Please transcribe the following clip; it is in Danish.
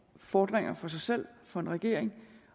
fordringer for sig selv for en regering